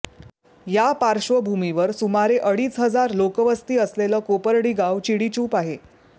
त्या पार्श्वभूमीवर सुमारे अडीच हजार लोकवस्ती असलेलं कोपर्डी गाव चिडीचूप आहे